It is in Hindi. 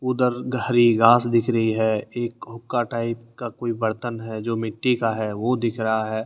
उधर हरी घास दिख रही है एक हुक्का टाइप का कोई बर्तन है जो मिट्टी का है वो दिख रहा है।